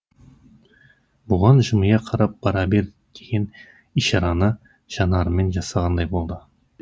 бұған жымия қарап бара бер деген ишараны жанарымен жасағандай болды